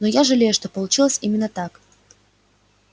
но я жалею что получилось именно так